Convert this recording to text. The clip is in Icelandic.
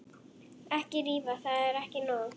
Ekki rífa, það er ekki nóg.